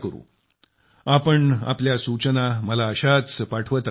तुम्ही तुमच्या सूचना मला अशाच पाठवत रहा